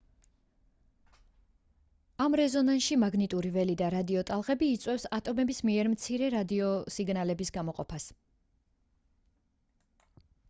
ამ რეზონანსში მაგნიტური ველი და რადიოტალღები იწვევს ატომების მიერ მცირე რადიოსიგნალების გამოყოფას